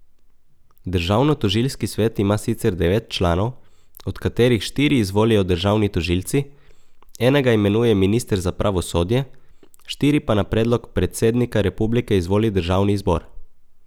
Državnotožilski svet ima sicer devet članov, od katerih štiri izvolijo državni tožilci, enega imenuje minister za pravosodje, štiri pa na predlog predsednika republike izvoli državni zbor.